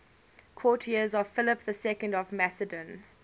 courtiers of philip ii of macedon